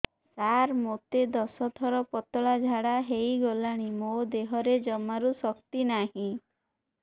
ସାର ମୋତେ ଦଶ ଥର ପତଳା ଝାଡା ହେଇଗଲାଣି ମୋ ଦେହରେ ଜମାରୁ ଶକ୍ତି ନାହିଁ